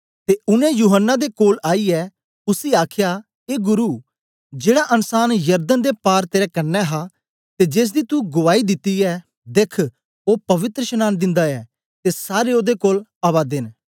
ते उनै यूहन्ना दे कोल आईयै उसी आखया ए गुरु जेड़ा अन्सान यरदन दे पार तेरे कन्ने हा ते जेसदी तू गुआई दिती ऐ देख्ख ओ पवित्रशनांन दिंदा ऐ ते सारे ओदे कोल आवा दे न